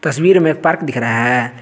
तस्वीर में पार्क दिख रहा है।